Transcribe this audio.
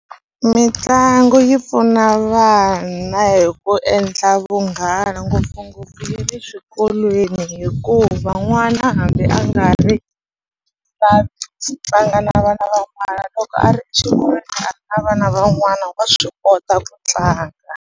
Mitlangu yi pfuna vana hi ku endla vunghana ngopfungopfu na le eswikolweni hikuva n'wana hambi a nga ri tlanga na vana van'wana loko a ri na vana van'wana wa swi kota ku tlanga.